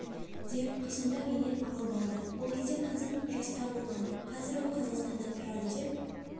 деп қызымды менен алып алды ол кезде қызым жаста болған қазір ол қазақстанда тұрады деп